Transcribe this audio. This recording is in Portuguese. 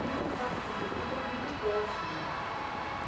E o contato com o prefeito era muito próximo.